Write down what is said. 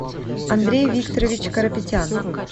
андрей викторович карапетян